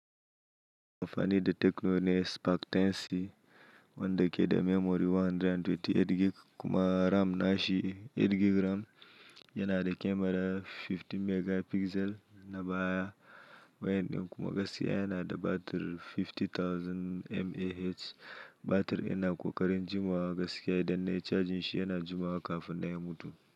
Kamfani de Tecno ne Spark 10C wanda ke da memory 128 gig kuma RAM nashi 8 gig RAM. Yana da camera 15 megapixel na baya wayan din kuma gaskiya yana da batir 50,000 mAh. Batir yana ƙoƙarin jimawa gaskiya idan nayi charjin shi yana jimawa kafin na ya mutu.